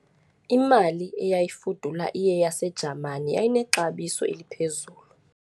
Imali eyayifudula iyeyaseJamani yayinexabiso eliphezulu.